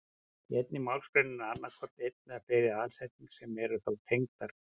Í einni málsgrein er annað hvort ein eða fleiri aðalsetning sem eru þá tengdar.